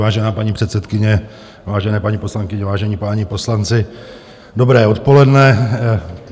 Vážená paní předsedkyně, vážené paní poslankyně, vážení páni poslanci, dobré odpoledne.